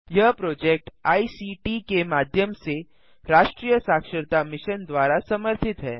यह project ICT के माध्यम से राष्ट्रीय साक्षरता मिशन द्वारा समर्थित है